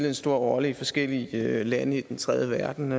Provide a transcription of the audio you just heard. en stor rolle i forskellige lande i den tredje verden